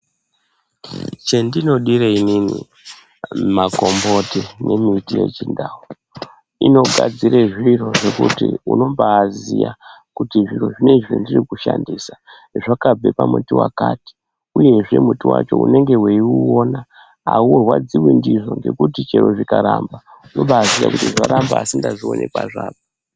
Chendinodire inini makomboti nemiti yechindau inogadzire zviro zvekuti unombaziya kuti zviro zvinoizvi zvendirikushandisa zvakabve pamuti vakati, uyezve muti vacho unenge veiuona haurwadzivi ndizvo nekuti chero zvikaramba unobaziya kuti zvaramba, asi ndazvione kuzvabva.